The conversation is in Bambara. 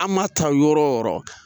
An maa taa yɔrɔ yɔrɔ.